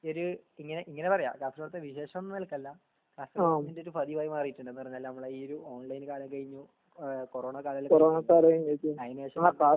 ഒരു ങ്ങനെ പറയ കാസർകോട്ട്ത്തെ വിശേഷം ന്നുള്ള നെല്കല്ല കാസർകോടിന്റെ ഒരു പതിവായി മാറീട്ട്ണ്ട് എന്ന് പറഞ്ഞാൽ ഈ ഒരു ഓൺലൈൻ കാലം കഴിഞ്ഞു കൊറോണ കാലം കഴിഞ്ഞു അയ്‌നുശേഷം